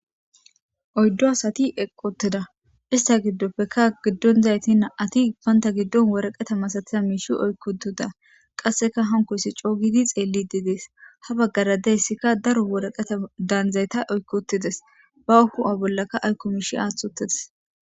oyddo asati eqottida ista giddoppekka giddon zayti na7ati ippanta giddon woraqeta ma satiya miishi oykkotida qasseka hankoyssi coogidi xeelli didees. ha baggara deyssikka daro woraqeta daanzayta oykkotides. ba ku'a bollaka aykkomishi aaththotides.